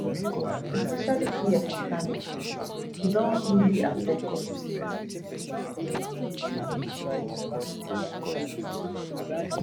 especially here for kano state e don really affect us becos pipo